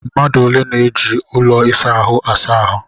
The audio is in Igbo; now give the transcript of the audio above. Mmadụ ole na-eji ụlọ ịsa ahụ asa ahụ?